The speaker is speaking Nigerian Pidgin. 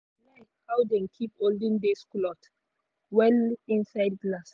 she like how dem keep olden days clothes well inside glass.